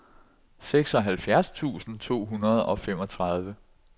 seksoghalvfjerds tusind to hundrede og femogtredive